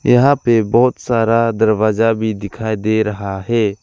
यहां पे बहोत सारा दरवाजा भी दिखाई दे रहा है।